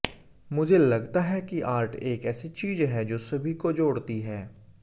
मुझे लगता है कि आर्ट एक ऐसी चीज है जो सभी को जोड़ती है